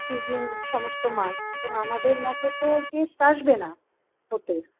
fridging সমস্ত মাছ সেরকম আমাদের মত তো taste আসবে না ওতে